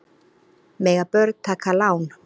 Mega börn taka lán?